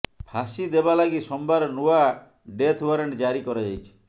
ଫାଶୀ ଦେବା ଲାଗି ସୋମବାର ନୂଆ ଡେଥ୍ ଓ୍ବାରେଣ୍ଟ ଜାରି କରାଯାଇଛି